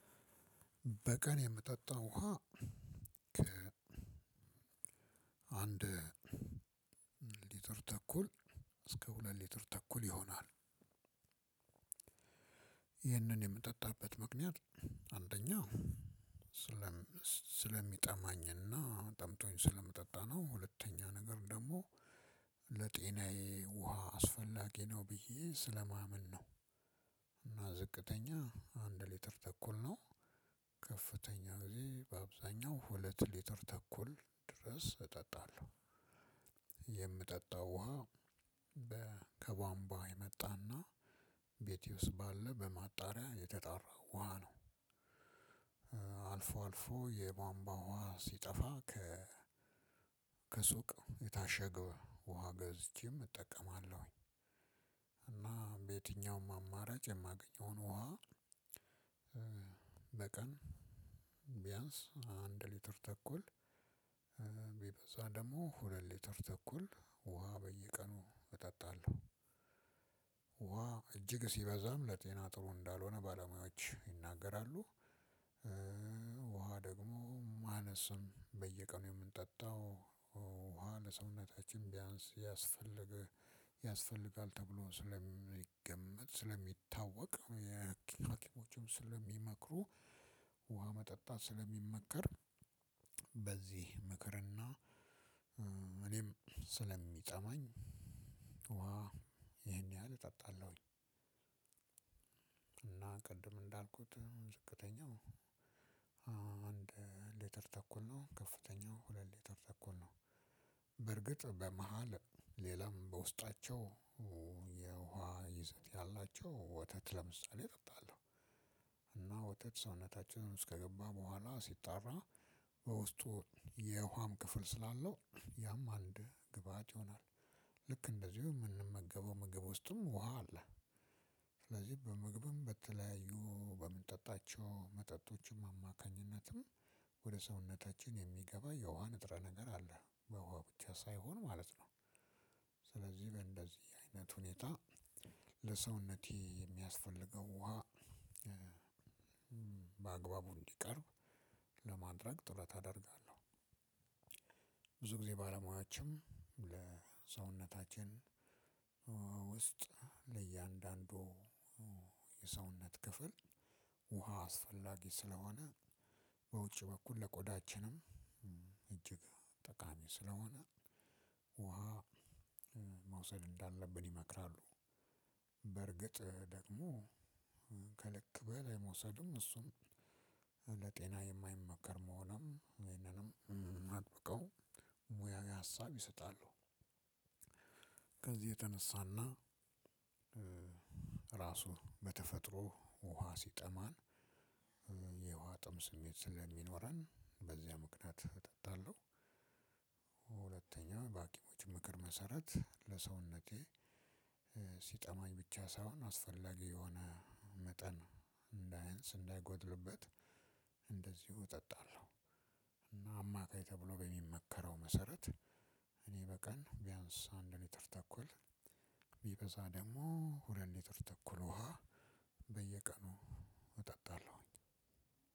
በቀን የምጠጣው ውሃ ከአንድ ሊትር ተኩል እስከ ሁለት ሊትር ተኩል ይሆናል። ይህንን የምጠጣበት ምክንያት አንደኛ ስለሚጠማኝ እና ጠምቶኝ ስለምጠጣ ነው ሁለተኛ ነገር ደግሞ ለጤናዬ ውሃ አስፈላጊ ነው ብዬ ስለማምን ነው። ዝቅተኛ አንድ ሊትር ተኩል ነው ከፍተኛ በአብዛኛው ሁለት ሊትር ተኩል ድረስ እጠጣለሁ። ይህም ውሃ ከቧንቧ የመጣና ቤቴ ውስጥ ባለ በማጣሪያ የተጣራው ውሃ ነው። አልፎ አልፎ የቧንቧ ውሃ ሲጠፋ ከሱቅ የታሸገው ውሃ ገዝቼም እጠቀማለሁኝ። እና በየትኛውም አማራጭ የማገኘውን ውሃ በቀን ቢያንስ አንድ ሊትር ተኩል ቢበዛ ደግሞ ሁለት ሊትር ተኩል ውሃ በየቀኑ እጠጣለሁ። ውሃ እጅግ ሲበዛም ለጤና ጥሩ እንዳልሆነ ባለሙያዎች ይናገራሉ። ውሃ ደግሞ ማነስም በየቀኑ የምንጠጣው ውሃ ለሰውነታችን ቢያንስ ያስፈልግ ያስፈልጋል ተብሎ ስለሚገመት ስለሚታወቅ ሀኪሞችም ስለሚመክሩ ውሃ መጠጣት ስለሚመከር በዚህ ምክርና እኔም ስለሚጠማኝ ውሃ ይሄን ያህል እጠጣለሁኝ። እና ቅድም እንዳልኩት ዝቅተኛው አንድ ሊተር ተኩል ነው ከፍተኛው ሁለት ሊተር ተኩል ነው። በእርግጥ በመሃል ሌላም በውስጣቸው የውሃ ይዘት ያላቸው ወተት ለምሳሌ እጠጣለሁ። እና ወተት ሰውነችን ውስጥ ከገባ በኋላ ሲጣራ በውስጡ የውሃም ክፍል ስላለው ያም አንድ ግብአት ይሆናል ልክ እንደዚሁ የምንመገበው ምግብ ውስጥም ውሃ አለ። ስለዚህ በምግብም በተለያዩ በምንጠጣቸው መጠጦችም አማካኝነትም ወደ ሰውነታችን የሚገባ የውሃ ንጥረ ነገር አለ በውሃ ብቻ ሳይሆን ማለት ነው። ስለዚህ በእንደዚህ አይነት ሁኔታ ለሰውነቴ የሚያስፈልገው ውሃ በአግባቡ እንዲቀርብ ለማድረግ ጥረት አደርጋለሁ። ብዙ ጊዜ ባለሙያዎችም ለሰውነታችን ውስጥ ለእያንዳንዱ የሰውነት ክፍል ውሃ አስፈላጊ ስለሆነ በውጭ በኩል ለቆዳችንም እጅግ ጠቃሚ ስለሆነ ውሃ መውሰድ እንዳለብን ይመክራሉ። በርግጥ ደግሞ ከልክ በላይ መውሰድም እሱም ለጤና የማይመከር መሆኑንም ይህንንም አጥብቀው ሙያዊ ሀሳብ ይሰጣሉ። ከዚህ የተነሳና ራሱ በተፈጥሮ ውሃ ሲጠማን የውሃ ጥም ስሜት ስለሚኖረን በዚያ ምክንያት እጠጣለሁ። ሁለተኛ በሀኪሞች ምክር መሰረት ለሰውነቴ ሲጠማኝ ብቻ ሳይሆን አስፈላጊ የሆነ መጠን እንዳያንስ እንዳይጎድልበት እጠጣለሁ። እና አማካይ ተብሎ በሚመከረው መሰረት እኔ በቀን ቢያንስ አንድ ሊትር ተኩል ቢበዛ ደግሞ ሁለት ሊትር ተኩል ውሃ በየቀኑ እጠጣለሁኝ።